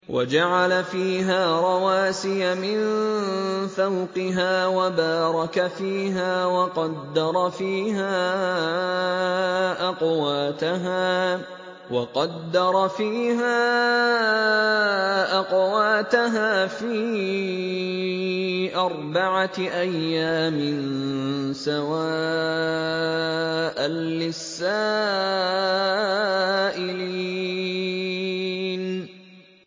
وَجَعَلَ فِيهَا رَوَاسِيَ مِن فَوْقِهَا وَبَارَكَ فِيهَا وَقَدَّرَ فِيهَا أَقْوَاتَهَا فِي أَرْبَعَةِ أَيَّامٍ سَوَاءً لِّلسَّائِلِينَ